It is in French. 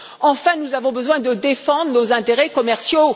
Enfin, nous avons besoin de défendre nos intérêts commerciaux.